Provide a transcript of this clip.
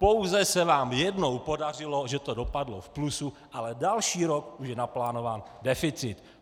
Pouze se vám jednou podařilo, že to dopadlo v plusu, ale další rok už je naplánován deficit.